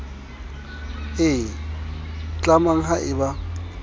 e tlamang ha e ba